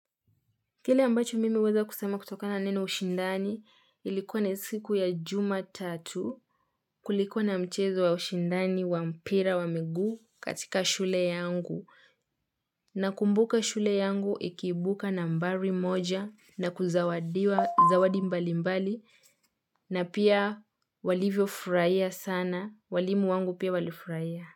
Kile ambacho mimi huweza kusema kutokana na neno ushindani ilikuwa ni siku ya jumatatu kulikuwa na mchezo wa ushindani wa mpira wa miguu katika shule yangu. Nakumbuka shule yangu ikiibuka nambari moja na kuzawadiwa zawadi mbali mbali na pia walivyo furahia sana. Walimu wangu pia walifurahia.